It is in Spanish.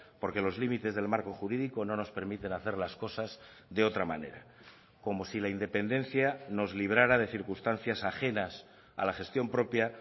porque los límites del marco jurídico no nos permiten hacer las cosas de otra manera como si la independencia nos librara de circunstancias ajenas a la gestión propia